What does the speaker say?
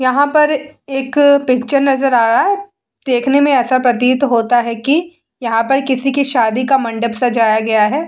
यहाँ पर एक पिक्चर नजर आ रहा है देखने में ऐसा प्रतीत होता है की यहाँ पर किसी की शादी की मंडप को सजाया गया है।